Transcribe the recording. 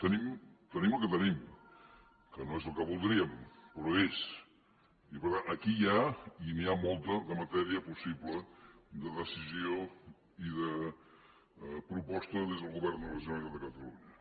tenim el que tenim que no és el que voldríem però és i per tant aquí hi ha i n’hi ha molta matèria possible de decisió i de proposta des del govern de la generalitat de catalunya